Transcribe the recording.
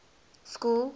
school